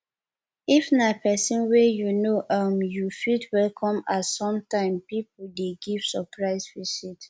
if na person wey you know um you fit welcome am sometime pipo dey give surprise visit